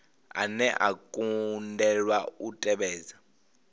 ane a kundelwa u tevhedza